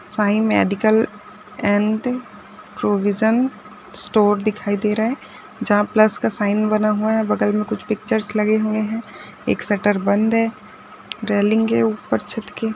Sai medical and provision store दिखायी दे रहा है जहां प्लस का साइन बना हुआ है बगल में कुछ पिक्चर्स लगे हुए है एक सटर बन्द है रैलिंग है ऊपर छत के।